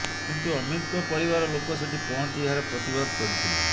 କିନ୍ତୁ ଅମିତ୍ଙ୍କ ପରିବାର ଲୋକ ସେଠି ପହଞ୍ଚି ଏହାର ପ୍ରତିବାଦ କରିଥିଲେ